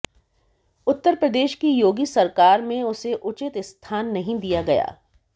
उत्तर प्रदेश की योगी सरकार में उसे उचित स्थान नहीं दिया गया